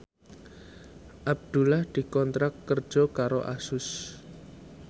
Abdullah dikontrak kerja karo Asus